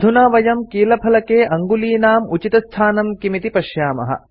अधुना वयं कीलफलके अङ्गुलीनाम् उचितस्थानं किम् इति पश्यामः